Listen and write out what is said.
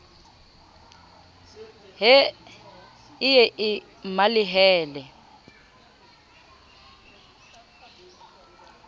he e ye e mmalehele